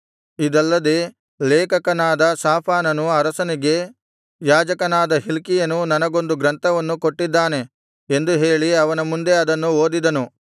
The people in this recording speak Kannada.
ಇದಲ್ಲದೆ ಲೇಖಕನಾದ ಶಾಫಾನನು ಅರಸನಿಗೆ ಯಾಜಕನಾದ ಹಿಲ್ಕೀಯನು ನನಗೊಂದು ಗ್ರಂಥವನ್ನು ಕೊಟ್ಟಿದ್ದಾನೆ ಎಂದು ಹೇಳಿ ಅವನ ಮುಂದೆ ಅದನ್ನು ಓದಿದನು